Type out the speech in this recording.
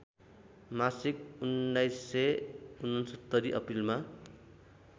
मासिक १९६९ अप्रिलमा